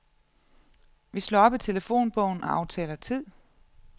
Vi slår op i telefonbogen og aftaler tid.